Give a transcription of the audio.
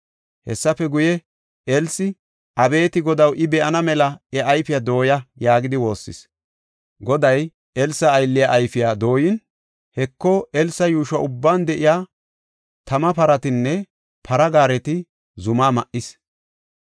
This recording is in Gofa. Hessafe guye, Elsi, “Abeeti Godaw, I be7ana mela iya ayfiya dooya” yaagidi woossis. Goday Elsa aylliya ayfiya dooyin, Heko, Elsa yuusho ubban de7iya tama paratinne para gaareti zumaa ma7is.